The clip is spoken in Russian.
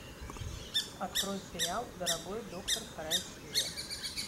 открой сериал дорогой доктор вторая серия